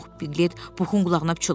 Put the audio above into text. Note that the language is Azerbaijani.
Piklet Puxun qulağına pıçıldadı.